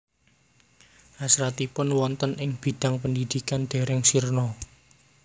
Hasratipun wonten ing bidang pendidikan dereng sirna